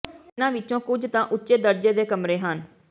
ਇਹਨਾਂ ਵਿੱਚੋਂ ਕੁਝ ਤਾਂ ਉੱਚੇ ਦਰਜੇ ਦੇ ਕਮਰੇ ਹਨ